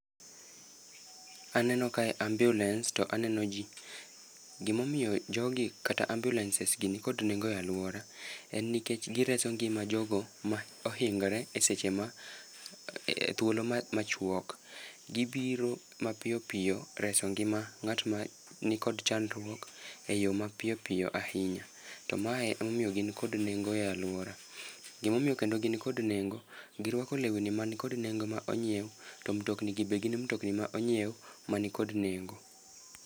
Aneno kae ambulance, to aneno ji. Gimomiyo jogi, kata ambulances gi ni kod nengo e alwora, en nikech gireso ngima jogo ma ohingore e seche ma thuolo machuok. Gibiro mapiyo piyo reso ngima ngát ma nikod chandruok e yo mapiyo piyo ahinya. To mae ema omiyo gin kod nengo e alwora. Gima omiyo kendo gin kod nengo, girwako lewni mani kod nengo ma onyiew, to mtokni gi be gin mtikni ma onyiew, mani kod nengo.